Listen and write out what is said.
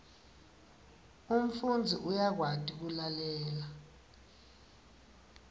umfundzi uyakwati kulalela